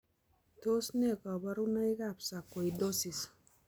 Tos nee kaborunoikab sarcoidosis